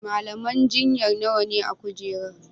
malaman jinya nawane a kujerar?